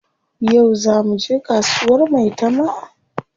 Yau zaa muje kasuwar maitama?